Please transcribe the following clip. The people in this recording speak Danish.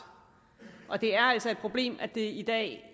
det er altså et problem at det i dag